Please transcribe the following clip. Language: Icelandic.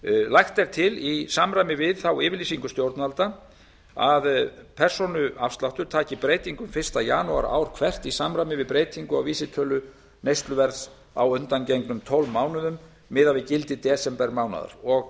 lagt er til í samræmi við þá yfirlýsingu stjórnvalda að persónuafsláttur taki breytingum fyrsta janúar ár hvert í samræmi við breytingu á vísitölu neysluverðs á undangengnum tólf mánuðum miðað við gildi desembermánaðar og